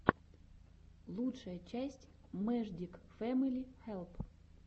лучшая часть мэждик фэмили хэлп